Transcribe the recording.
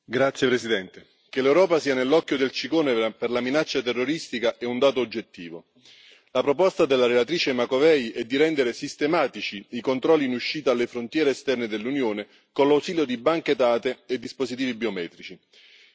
Signor Presidente, onorevoli colleghi, che l'Europa sia nell'occhio del ciclone per la minaccia terroristica è un dato oggettivo. La proposta della relatrice Macovei è di rendere sistematici i controlli in uscita alle frontiere esterne dell'Unione con l'ausilio di banche dati e dispositivi biometrici.